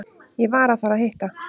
Ég var að fara að hitta